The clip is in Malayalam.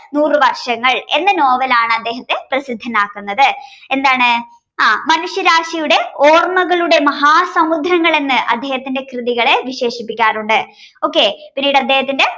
നൂറുവർഷങ്ങൾ എന്ന നോവലാണ് അദ്ദേഹത്തെ പ്രസിദ്ധനാക്കുന്നത് എന്താണ മനുഷ്യരാശിയുടെ ഓർമ്മകളുടെ മഹാ സമുദ്രങ്ങൾ എന്ന് അദ്ദേഹത്തിന്റെ കൃതികളെ വിശേഷിപ്പിക്കാൻ ഉണ്ട് okay